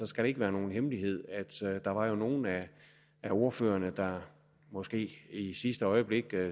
skal det ikke være nogen hemmelighed at der jo var nogle af ordførerne der måske i sidste øjeblik